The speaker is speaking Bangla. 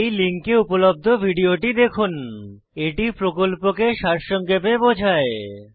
এই লিঙ্কে উপলব্ধ ভিডিওটি দেখুন httpspoken tutorialorgWhat is a Spoken tutorial এটি প্রকল্পকে সারসংক্ষেপে বোঝায়